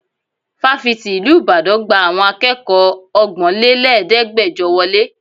Fáfitì ìlú Ìbàdàn gba àwọn akẹ́kọ̀ọ́ ọgbọ́nlẹ́lẹ̀ẹ́dẹ́gbẹjọ wọlé.